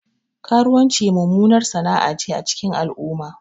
Karuwanci mummunar sana'ace a cikin al'umma